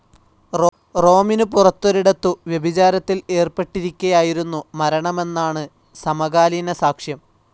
റോമിനു പുറത്തൊരിടത്തു വ്യഭിചാരത്തിൽ ഏർപ്പെട്ടിരിക്കെയായിരുന്നു മരണമെന്നാണ് സമകാലീനസാക്ഷ്യം.